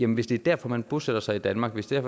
hvis det er derfor man bosætter sig i danmark hvis det er